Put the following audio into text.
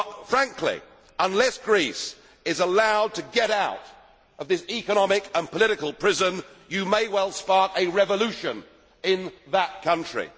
Frankly, unless Greece is allowed to get out of this economic and political prison you may well spark a revolution in that country.